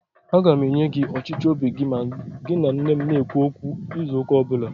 Aga m enye gị ọchịchọ óbì gị ma gị na nne m na -ekwu okwu izu ụ́kà ọbụla